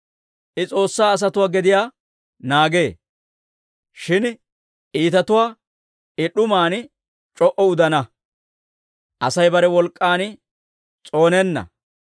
I S'oossaa asatuwaa gediyaa naagee; shin iitatuwaa I d'uman c'o"u udana. «Asay bare wolk'k'an s'oonenna;